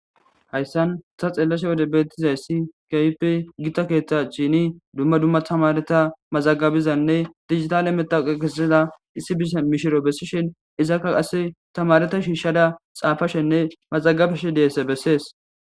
Hayisan ta xelewode betizays issi kehipe gita ketha achin duma duma tamareta mazagabizane dijitale matoqiya kesiza issi mishiru besishin izaka tamareta shishada xapashene mazagabash dizayisa beses